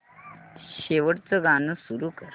शेवटचं गाणं सुरू कर